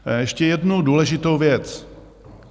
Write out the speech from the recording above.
Ještě jednu důležitou věc.